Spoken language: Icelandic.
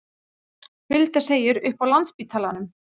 Hulda segir upp á Landspítalanum